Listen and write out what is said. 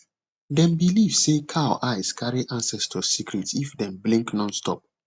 dem believe say cow eyes carry ancestors secret if dem blink nonstop